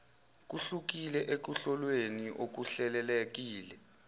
kuhlukile ekuhlolweni okuhlelelekile